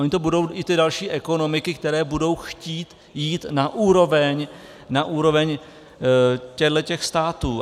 Ony to budou i ty další ekonomiky, které budou chtít jít na úroveň těchto států.